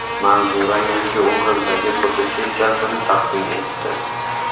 Manzura yangi obrazdagi fotosessiyasini taqdim etdi.